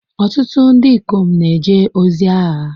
Ọtụtụ ndị ikom na-eje ozi agha.